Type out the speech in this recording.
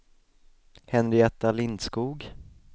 Henrietta Lindskog